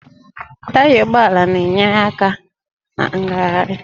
Taya ụgbọala na-enyere aka na ngagharị